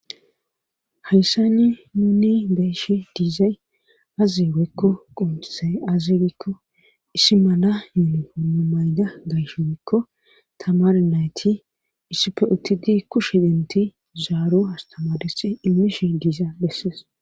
hayssani nuni be'eshi diizay aze woyekko qoncizay aze gikko issi mana yuunifomea mayda woyikko tamara nayti issipfe uttidi kush dentidi zaaro astamaresi imishi diiza besses